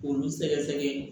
K'olu sɛgɛsɛgɛ